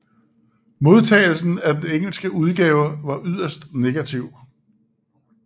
Modtagelsen af den engelske udgave var yderst negativ